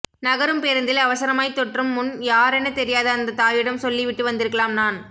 நகரும் பேருந்தில் அவசரமாய் தொற்றும் முன் யாரெனத் தெரியாத அந்தத் தாயிடம் சொல்லிவிட்டு வந்திருக்கலாம் நான்